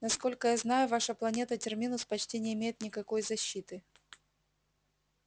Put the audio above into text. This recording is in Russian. насколько я знаю ваша планета терминус почти не имеет никакой защиты